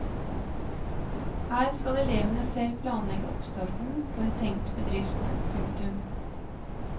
Her skal elevene selv planlegge oppstarten på en tenkt bedrift. punktum